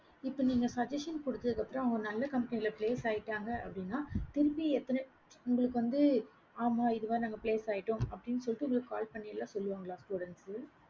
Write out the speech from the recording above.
இப்ப நீங்க suggestion குடுத்ததுக்கு அப்பறம் நல்ல company place ஆகிடாங்க அப்படினா திருப்பி உங்களுக்கு வந்து ஆமா mam இதுல place ஆகிட்டோம் அப்படின்னு சொல்லட்டு உங்களுக்கு call பண்ணி சொல்லுவாங்களா students